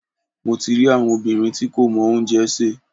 Mo ti rí àwọn obìnrin tí kò mọ oúnjẹ sè.